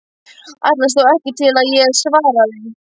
Ætlaðist þó ekki til að ég svaraði.